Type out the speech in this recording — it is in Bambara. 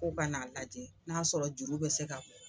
K'o kan'a lajɛ n'a sɔrɔ juru bɛ se ka